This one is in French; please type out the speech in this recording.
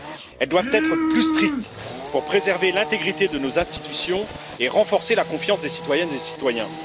Elles doivent être plus strictes pour préserver l'intégrité de nos institutions et renforcer la confiance des citoyennes et des citoyens.